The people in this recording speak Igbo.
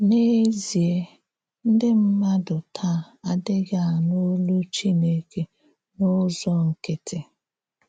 N’èzíè, ǹdí mmádụ tàà àdíghị ànụ̀ òlú Chínèkè n’ụ́zọ̀ nkìttì.